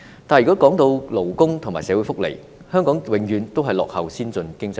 但是，如果說到勞工和社會福利，香港永遠也落後於先進經濟體。